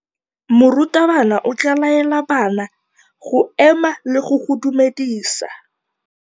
Morutabana o tla laela bana go ema le go go dumedisa.